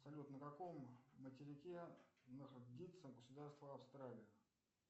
салют на каком материке находится государство австралия